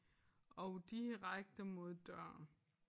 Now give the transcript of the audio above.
Og direkte mod døren